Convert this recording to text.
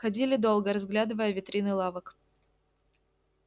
ходили долго разглядывая витрины лавок